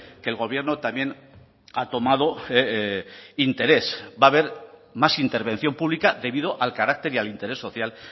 que el gobierno también ha tomado interés va a haber más intervención pública debido al carácter y al interés social